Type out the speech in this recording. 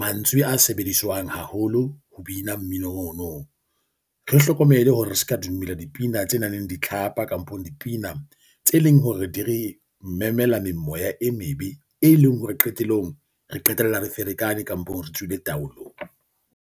Mantswe a sebediswang haholo ho bina mmino ono, re hlokomele hore re kka dumela dipina tse nang le ditlhapa kampong dipina tse leng hore di re memela memoya e mebe, e leng hore qetellong re qetella re ferekane kampong, re tswile taolong.